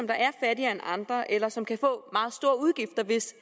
der er fattigere end andre eller som kan få meget store udgifter hvis